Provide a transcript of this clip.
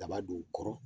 Daba don kɔrɔ